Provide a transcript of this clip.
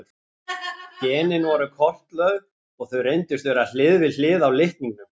Genin voru kortlögð og þau reyndust vera hlið við hlið á litningnum.